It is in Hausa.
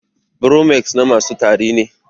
Bromex na masu tari ne